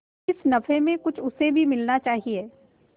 इस नफे में कुछ उसे भी मिलना चाहिए